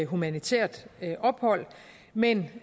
humanitært ophold men